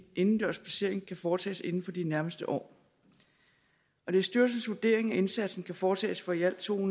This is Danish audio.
indendørs placering kan foretages inden for de nærmeste år det er styrelsens vurdering at indsatsen kan foretages for i alt to